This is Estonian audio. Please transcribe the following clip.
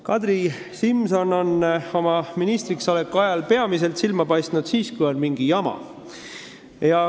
Kadri Simson on ministriks oleku ajal silma paistnud peamiselt siis, kui on olnud mingi jama.